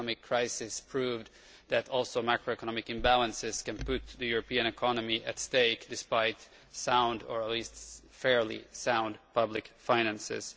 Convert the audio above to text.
The economic crisis proved that macroeconomic imbalances can also put the European economy at stake, despite sound or at least fairly sound public finances.